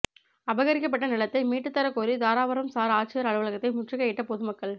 அபகரிக்கப்பட்ட நிலத்தை மீட்டுத் தரக் கோரி தாராபுரம் சாா் ஆட்சியா் அலுவலகத்தை முற்றுகையிட்ட பொதுமக்கள்